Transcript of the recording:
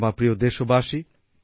আমার প্রিয় দেশবাসী